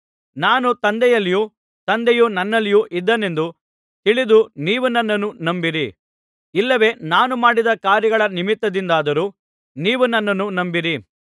ನಾನು ತಂದೆಯಲ್ಲಿಯೂ ತಂದೆಯು ನನ್ನಲ್ಲಿಯೂ ಇದ್ದಾನೆಂದು ತಿಳಿದು ನೀವು ನನ್ನನ್ನು ನಂಬಿರಿ ಇಲ್ಲವೇ ನಾನು ಮಾಡಿದ ಕಾರ್ಯಗಳ ನಿಮಿತ್ತದಿಂದಾದರೂ ನೀವು ನನ್ನನ್ನು ನಂಬಿರಿ